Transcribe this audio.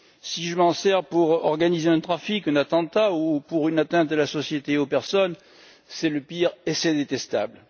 Si je m'en sers pour organiser un trafic, un attentat ou pour une atteinte à la société et aux personnes, c'est le pire, et c'est détestable.